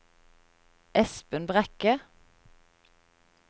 Espen Brekke